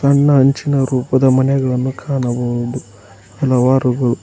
ಸಣ್ಣ ಹಂಚಿನ ರೂಪದ ಮನೆಗಳನ್ನು ಕಾಣಬಹುದು ಹಲವಾರುಗಳು --